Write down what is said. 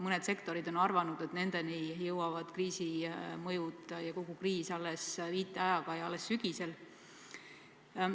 Mõned sektorid on arvanud, et nendeni jõuab kriisi mõju, kogu see kriis alles viiteajaga ja alles sügisel.